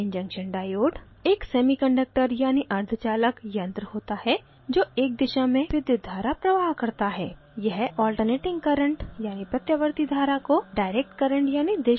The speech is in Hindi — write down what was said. pn junction diode: